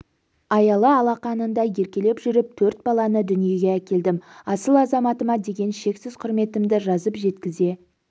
аялы алақанында еркелеп жүріп төрт баланы дүниеге әкелдім асыл азаматыма деген шексіз құрметімді жазып жеткізе